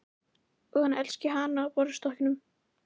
Og hann elski hana á borðstokknum.